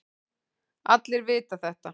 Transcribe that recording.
Allir vita þetta.